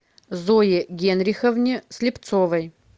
зое генриховне слепцовой